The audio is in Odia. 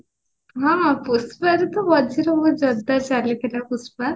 ହଁ ପୁଷ୍ପରେ ତ ମଝିରେ ବହୁତ ଜୋରଦାର ଚାଲିଥିଲା ପୁଷ୍ପା